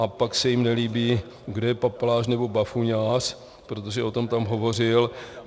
A pak se jim nelíbí, kdo je papaláš, nebo bafuňář, protože o tom tam hovořil.